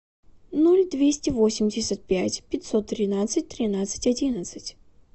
ноль двести восемьдесят пять пятьсот тринадцать тринадцать одиннадцать